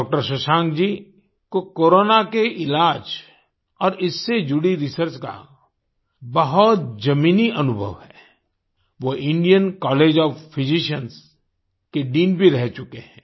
doctor Shashank ji को corona के इलाज और इससे जुड़ी रिसर्च का बहुत जमीनी अनुभव है वो इंडियन कॉलेज ओएफ फिजिशियंस के डीन भी रह चुके हैं